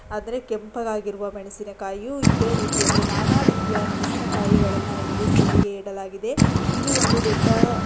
ಆದ್ರೆ ಕೆಂಪಗಾಗಿರುವ ಮೆಣಸಿನಕಾಯಿ ಇದೆ ರೀತಿಯಲ್ಲಿ ನಾನಾ ರೀತಿಯ ಮೆಣಸಿನ ಕಾಯಿಗಳನ್ನ ಇಲ್ಲಿ ಸೇಲ್ ಇಗೆ ಇಡಲಾಗಿದೆ ಇದು ಒಂದು ದೊಡ್ಡ.